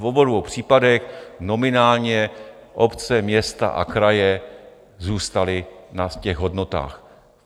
V obou dvou případech nominálně obce, města a kraje zůstaly na těch hodnotách.